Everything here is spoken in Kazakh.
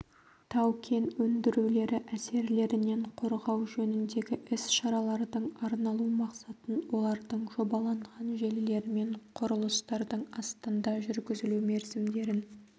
тау-кен өндірулері әсерлерінен қорғау жөніндегі іс-шаралардың арналу мақсатын олардың жобаланған желілер мен құрылыстардың астында жүргізілу мерзімдерін